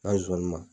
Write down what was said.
N'a ye zonzannin